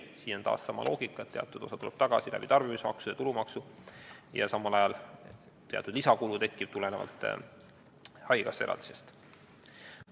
Siin on taas sama loogika, et teatud osa tuleb tagasi läbi tarbimismaksude ja tulumaksu ning samal ajal tekib teatud lisakulu haigekassa eraldisest.